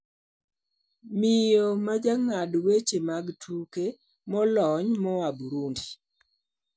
miyo ma jang`ad weche mag tuke molony moa Burundi